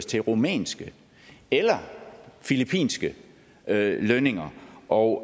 til rumænske eller filippinske lønninger og